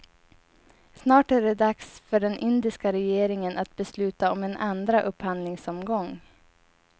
Snart är det dags för den indiska regeringen att besluta om en andra upphandlingsomgång.